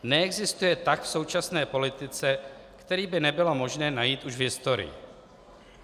Neexistuje tah v současné politice, který by nebylo možné najít už v historii.